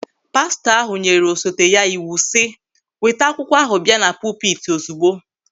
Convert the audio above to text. Pastọ ahụ nyere osote ya iwu si, "Weta akwụkwọ ahụ bịa na pupiti ozigbo!"